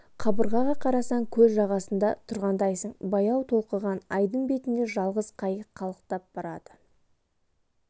қабырғаға қарасаң көл жағасында тұрғандайсың баяу толқыған айдын бетінде жалғыз қайық қалықтап барады